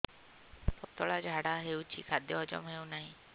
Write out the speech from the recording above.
ପତଳା ଝାଡା ହେଉଛି ଖାଦ୍ୟ ହଜମ ହେଉନାହିଁ